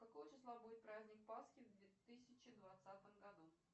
какого числа будет праздник пасхи в две тысячи двадцатом году